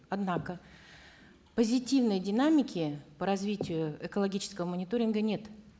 однако позитивной динамики по развитию экологического мониторинга нет